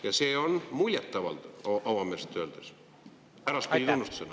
… ja see on muljet avaldav, avameelselt öeldes – äraspidi tunnustusena.